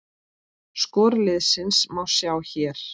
Skor liðsins má sjá hér